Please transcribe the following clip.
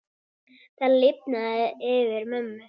Það lifnaði yfir mömmu.